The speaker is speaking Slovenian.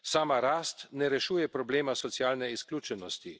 Sama rast ne rešuje problema socialne izključenosti.